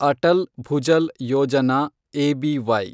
Atal Bhujal Yojana, ABY